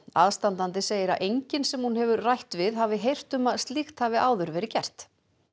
aðstandandi segir að enginn sem hún hafi rætt við hafi heyrt um að slíkt hafi áður verið gert